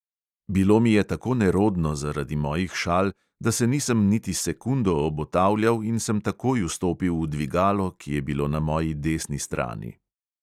Bilo mi je tako nerodno zaradi mojih šal, da se nisem niti sekundo obotavljal in sem takoj vstopil v dvigalo, ki je bilo na moji desni strani.